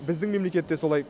біздің мемлекет те солай